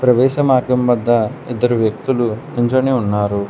ప్రవేశ మార్గం వద్ద ఇద్దరు వ్యక్తులు నించొని ఉన్నారు.